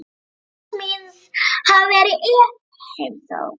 Stefáns míns hafi verið í heimsókn.